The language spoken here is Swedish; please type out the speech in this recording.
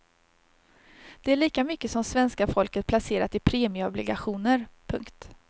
Det är lika mycket som svenska folket placerat i premieobligationer. punkt